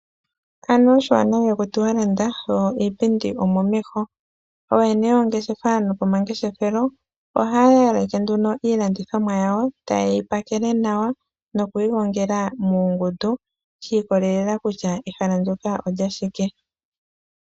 Anuwa oshiwanawa ihakutiwa landa, yo iipindi omomeho. Ooyene yoongeshefa nopomangeshefelo ohaa yaleke nduno iilandithomwa yawo, ta ye yi pakele nawa noku yi gongela muungundu , shi ikolelela kutya ehala ndjoka olyashike.